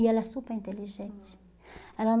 E ela é super inteligente. aham. Ela